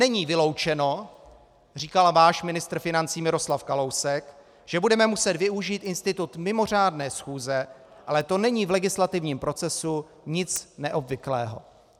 - "Není vyloučeno," říkal váš ministr financí Miroslav Kalousek, "že budeme muset využít institut mimořádné schůze, ale to není v legislativním procesu nic neobvyklého."